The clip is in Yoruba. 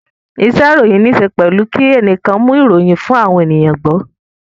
Isẹ́ ìròyìn níse pẹ̀lú kí ẹnìkan mú ìròyìn fún àwọn ènìyàn gbọ́